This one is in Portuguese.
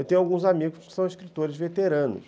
Eu tenho alguns amigos que são escritores veteranos.